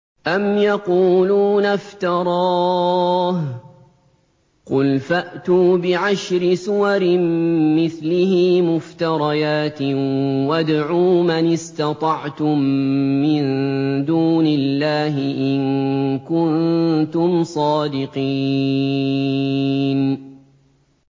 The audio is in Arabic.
أَمْ يَقُولُونَ افْتَرَاهُ ۖ قُلْ فَأْتُوا بِعَشْرِ سُوَرٍ مِّثْلِهِ مُفْتَرَيَاتٍ وَادْعُوا مَنِ اسْتَطَعْتُم مِّن دُونِ اللَّهِ إِن كُنتُمْ صَادِقِينَ